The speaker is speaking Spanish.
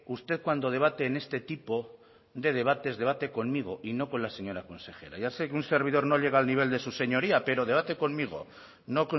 usted cuando debate en este tipo de debates debate conmigo y no con la señora consejera ya sé que un servidor no llega al nivel de su señoría pero debate conmigo no